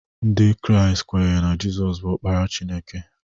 Ndị Kraịst kwenyere na Jesu bụ Ọkpara Chineke